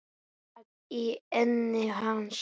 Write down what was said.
Gat í enni hans.